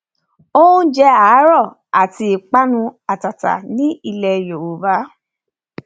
oúnjẹ àárọ àti ìpanu àtàtà ní ilẹ yorùbá